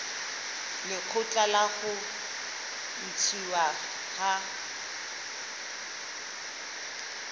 lekgotla la ho ntshuwa ha